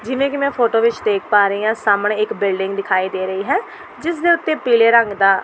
ਜਿਵੇਂ ਕਿ ਮੈਂ ਫੋਟੋ ਵਿਚ ਦੇਖ ਪਾ ਰਹੀਂ ਹਾਂ ਸਾਹਮਣੇ ਇੱਕ ਬਿਲਡਿੰਗ ਦਿਖਾਈ ਦੇ ਰਹੀ ਹੈ ਜਿਸ ਦੇ ਉੱਤੇ ਪੀਲੇ ਰੰਗ ਦਾ --